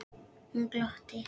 Hún glotti.